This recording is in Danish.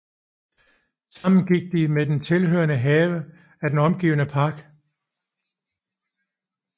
Sammen med den tilhørende have er den omgivet af park